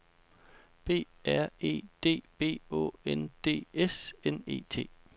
B R E D B Å N D S N E T